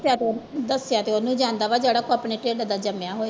ਦੱਸਿਆ ਤੇ ਉਹ ਦੱਸਿਆ ਤੇ ਉਹਨੂੰ ਜਾਂਦਾ ਵਾ ਜਿਹੜਾ ਆਪਣੇ ਢਿੱਡ ਦਾ ਜੰਮਿਆ ਹੋਏ।